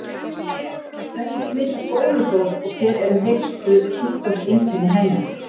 Hvernig smitast bólusótt og hver eru helstu sjúkdómseinkenni hennar?